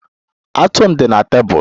Atu m di na tebụl